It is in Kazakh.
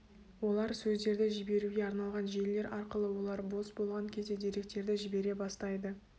олар сөздерді жіберуге арналған желілер арқылы олар бос болған кезде деректерді жібере бастайды